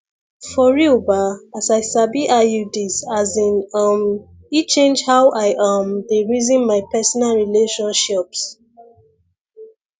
for real ba as i sabi iuds as in um e change how i um dey reason my personal relationshiops